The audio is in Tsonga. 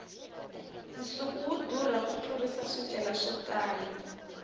nsuku wu durha ku tlurisa swicelwa swo tala